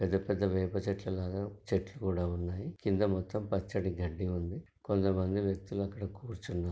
పెద్ద పెద్ద వేప చెట్లు లాగా చెట్లు కూడ ఉన్నాయి కింద మొత్తం పచ్చటి గడ్డి ఉంది కొంతమంది వ్యక్తులు అక్కడ కూర్చునా--